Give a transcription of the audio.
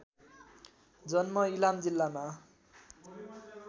जन्म इलाम जिल्लामा